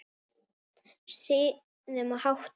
Siðum og háttum.